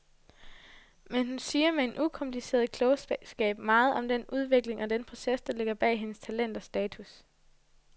Men hun siger med en ukompliceret klogskab meget om den udvikling og den proces, der ligger bag hendes talent og status.